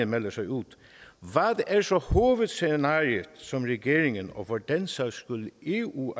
melder sig ud hvad er så hovedscenariet som regeringen og for den sags skyld eu